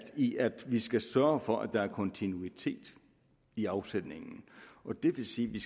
i at vi skal sørge for at der er kontinuitet i afsætningen og det vil sige at vi